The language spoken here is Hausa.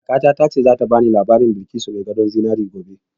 Kakata ta ce za ta bani labarin Balkisu mai gadon zinari gobe